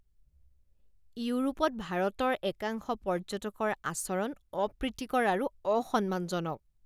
ইউৰোপত ভাৰতৰ একাংশ পৰ্যটকৰ আচৰণ অপ্ৰীতিকৰ আৰু অসম্মানজনক।